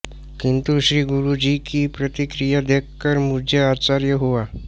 किन्तु श्रीगुरुजी की प्रतिक्रिया देखकर मुझे आश्चर्य हुआ